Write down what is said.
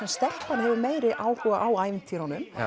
stelpan hefur meiri áhuga á ævintýrunum